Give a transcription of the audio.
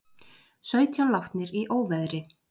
Sautján látnir í óveðri